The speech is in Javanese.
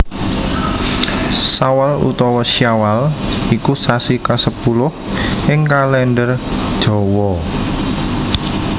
Sawal utawa Syawal iku sasi kasepuluh ing Kalèndher Jawa